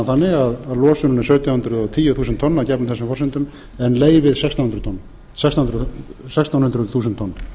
þannig að losunin er sautján hundruð og tíu þúsund tonn að gefnum þessu forsendum en leyfið sextán hundruð þúsund tonn